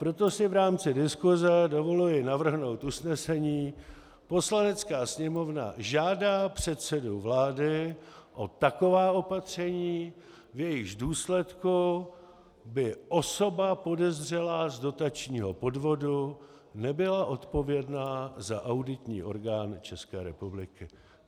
Proto si v rámci diskuse dovoluji navrhnout usnesení: Poslanecká sněmovna žádá předsedu vlády o taková opatření, v jejichž důsledku by osoba podezřelá z dotačního podvodu nebyla odpovědná za auditní orgán České republiky.